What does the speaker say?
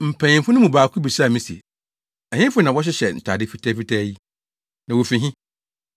Mpanyimfo no mu baako bisaa me se, “Ɛhefo na wɔhyehyɛ ntade fitafitaa yi, na wofi he?”